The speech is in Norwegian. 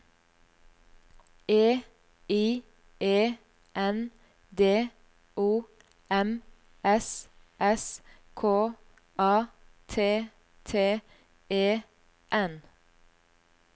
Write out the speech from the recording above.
E I E N D O M S S K A T T E N